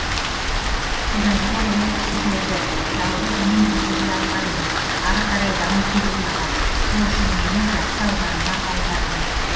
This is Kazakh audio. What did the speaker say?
содан соң ол кісі көрді жалғыз мен көтеріле алмаймын ары қарай даму керек маған сол үшін мені жақсы ауданына аударды